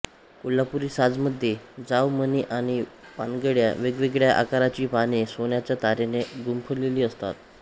कोल्हापुरी साजमध्ये जाव मणी आणि पानड्या वेगवेगळ्या आकाराची पाने सोन्याच्या तारेने गुंफलेली असतात